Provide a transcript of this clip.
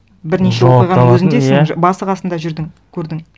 бірнеше оқиғанының сен басы қасында жүрдің көрдің